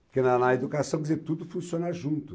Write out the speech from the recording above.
Porque na na educação, quer dizer, tudo funciona junto.